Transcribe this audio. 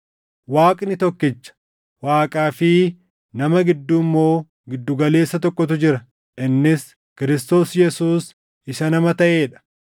Waaqni tokkicha; Waaqaa fi nama gidduu immoo gidduu galeessa tokkotu jira; innis Kiristoos Yesuus isa nama taʼee dha;